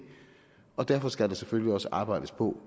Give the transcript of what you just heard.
og derfor skal der selvfølgelig også arbejdes på